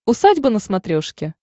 усадьба на смотрешке